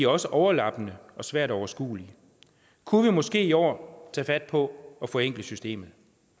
også overlappende og svært overskuelige kunne vi måske i år tage fat på at forenkle systemet